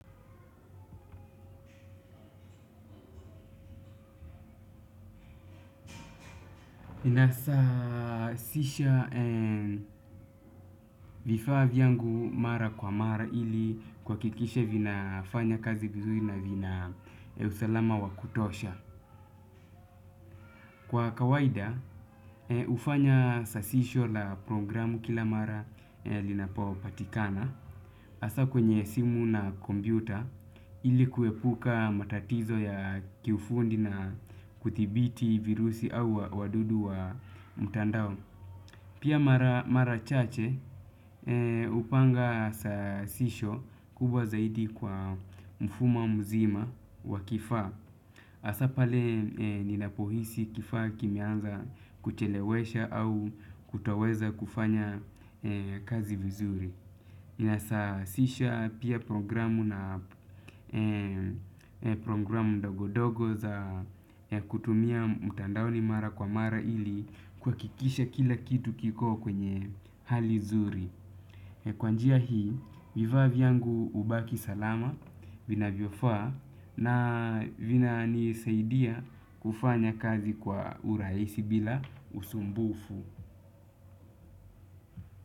Nasasisha vifaa yangu mara kwa mara ili kwa hakikisha vinafanya kazi vizuri na vina usalama wa kutosha. Kwa kawaida hufanya sasisho la programu kila mara linapopatikana. Hasa kwenye simu na kompyuta ili kuepuka matatizo ya kiufundi na kuthibiti virusi au wadudu wa mtandao. Pia mara chache hupanga sasisho kubwa zaidi kwa mfumo mzima wa kifaa. Hasa pale ninapo hisi kifaa kimeanza kuchelewesha au kutoweza kufanya kazi vizuri. Kinasasisha pia programu na programu ndogo ndogo za kutumia mtandaoni mara kwa mara ili kuhakikisha kila kitu kiko kwenye hali zuri. Kwa njia hii, vifaa vyangu hubaki salama vinavyofaa na vina nisaidia kufanya kazi kwa urahisi bila usumbufu.